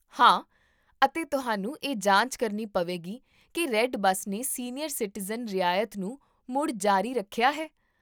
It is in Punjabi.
ਹਾਂ, ਅਤੇ ਤੁਹਾਨੂੰ ਇਹ ਜਾਂਚ ਕਰਨੀ ਪਵੇਗੀ ਕਿ ਰੈੱਡ ਬਸ ਨੇ ਸੀਨੀਅਰ ਸਿਟੀਜ਼ਨ ਰਿਆਇਤ ਨੂੰ ਮੁੜ ਜਾਰੀ ਰੱਖਿਆ ਹੈ